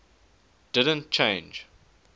didn t change